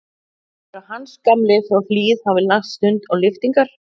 Heldurðu að Hans gamli frá Hlíð hafi lagt stund á lyftingar?